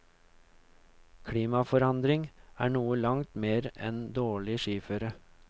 Klimaforandring er noe langt mer enn dårlig skiføre.